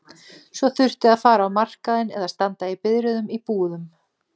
Svo þurfti að fara á markaðinn eða standa í biðröðum í búðum.